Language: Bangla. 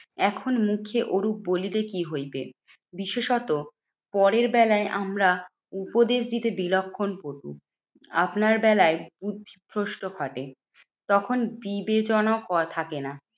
এখন মুখে ওরূপ বলিতে কি হইবে? বিশেষত পরের বেলায় আমরা উপদেশ দিতে বিলক্ষণ পটু। আপনার বেলায় বুদ্ধিভ্রষ্ট ঘটে, তখন বিবেচনা থাকে না।